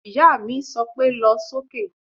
Ìyá mi sọ pé "lọ sókè"